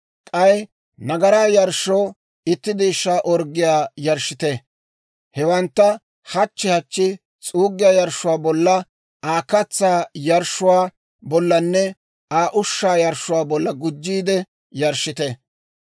K'ay nagaraa yarshshoo itti deeshshaa orggiyaa yarshshite. Hewantta hachchi hachchi s'uuggiyaa yarshshuwaa bolla, Aa katsaa yarshshuwaa bollanne Aa ushshaa yarshshuwaa bolla gujjiide yarshshite.